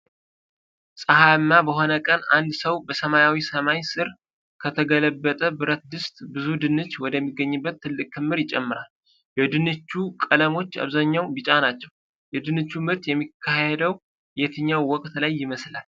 ፀሐያማ በሆነ ቀን አንድ ሰው በሰማያዊ ሰማይ ስር ከተገለበጠ ብረት ድስት ብዙ ድንች ወደሚገኝበት ትልቅ ክምር ይጨምራል። የድንቹ ቀለሞች በአብዛኛው ቢጫማ ናቸው፤ የድንቹ ምርት የሚካሄደው የትኛው ወቅት ላይ ይመስላል?